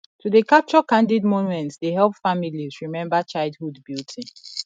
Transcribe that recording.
to dey capture candid moments dey help families remember childhood beauty